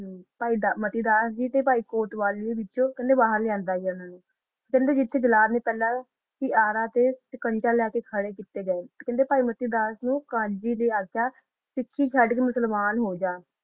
ਅਨਾ ਤਾ ਖਾਨ ਗੀ ਨਾ ਆਖਿਆ ਕਾ ਤੂ ਮਤੀ ਦਸ ਹੋ ਜਾ